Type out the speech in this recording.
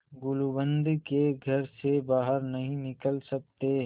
गुलूबंद के घर से बाहर नहीं निकल सकते